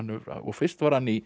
fyrst var hann í